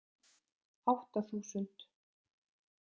Átta þúsund